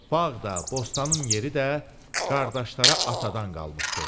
Bağ da, bostanın yeri də qardaşlara atadan qalmışdı.